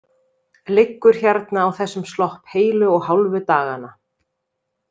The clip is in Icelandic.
Liggur hérna á þessum slopp heilu og hálfu dagana.